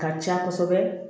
Ka ca kosɛbɛ